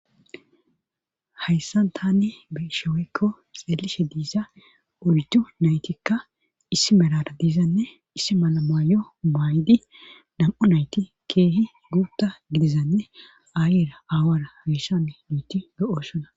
Hayssan tane besheweykko xeelishe diiza ulidu naytikka issi melara diizanne issi mala maayo maaydi dam7u nayti keehi guutta gidizanne aayira aawara heshami duuti go7osona.